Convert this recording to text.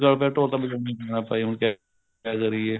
ਗੱਲ ਪਿਆ ਢੋਲ ਤਾਂ ਵਜਾਉਣਾ ਹੀ ਪੈਣਾ ਭਾਈ ਹੁਣ ਕਿਆ ਕਰੀਏ